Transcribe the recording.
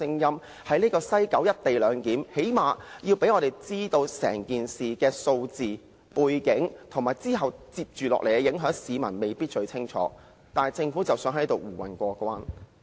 最低限度政府要讓我們知道整件事的相關數字、背景，以及接着下來的影響，因為市民未必清楚，但政府卻想在此蒙混過關。